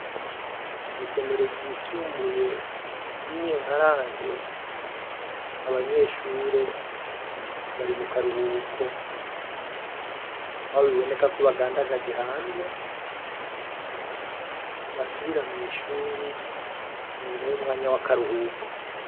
Kw'isomero ryisumbuye ry'inyenkarange abanyeshure bari mu karuhuko abo biboneka ko bagandagaje hanze basubira mw'ishuri inyuma y'umwanya w'akaruhuko.